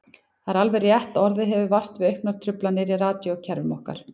Það er alveg rétt að orðið hefur vart við auknar truflanir í radíókerfunum okkar.